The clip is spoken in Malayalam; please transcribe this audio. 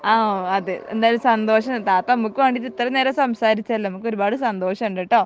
ആഹ് അതെ എന്തായാലും സന്തോഷം താത്ത നമ്മുക് വേണ്ടീട്ട് ഇത്രേം നേരം സംസാരിച്ചല്ലോ നമുക്ക് ഒരുപാട് സന്തോഷം ഉണ്ടെട്ടോ